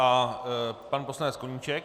A pan poslanec Koníček.